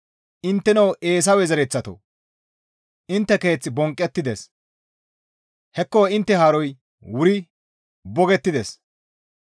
Intteno Eesawe zereththatoo! Intte keeth bonqqettides; hekko intte haaroy wuri bogettides.